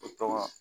O tɔgɔ